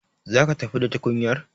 Za ki tafi da tukunyar?